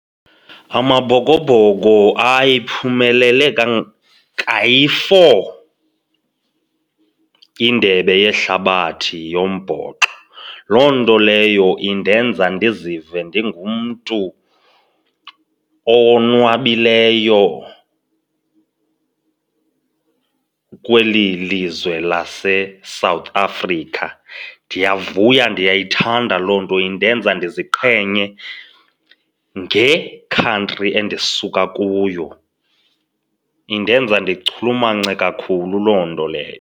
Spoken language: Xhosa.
AmaBhokoBhoko ayiphumelele kayi-four indebe yehlabathi yombhoxo, loo nto leyo indenza ndizive ndingumntu owonwabileyo kweli lizwe laseSouth Africa. Ndiyavuya, ndiyayithanda loo nto, indenza ndiziqhenye ngekhantri endisuka kuyo. Indenza ndichulumance kakhulu loo nto leyo.